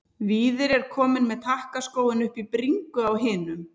Víðir er kominn með takkaskóinn upp í bringu á hinum.